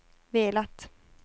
velat